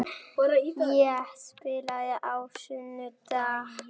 Ég spilaði á sunnudag, ferðaðist allan mánudaginn og var svo komin hingað á þriðjudaginn.